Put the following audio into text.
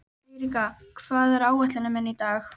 Eiríka, hvað er á áætluninni minni í dag?